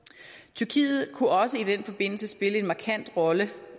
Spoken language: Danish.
tyrkiet kunne også i den forbindelse spille en markant rolle